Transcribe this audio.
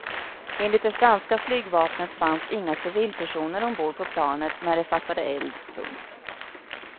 Enligt det franska flygvapnet fanns inga civilpersoner ombord på planet när det fattade eld. punkt